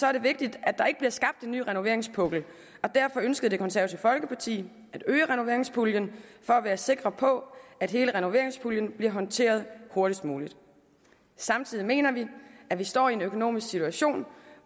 er det vigtigt at der ikke bliver skabt en ny renoveringspukkel og derfor ønskede det konservative folkeparti at øge renoveringspuljen for at være sikre på at hele renoveringspuljen bliver håndteret hurtigst muligt samtidig mener vi at vi står i en økonomisk situation